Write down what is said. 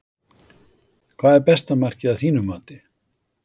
Hvað er besta markið að þínu mati?